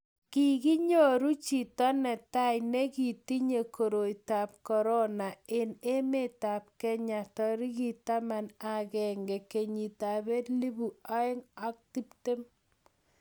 kikinyoru chito ne tai ne kitinye koroitab korona eng' emetab kenya tarikit taman ak agenge, kenyitab elput oeng' ak tiptem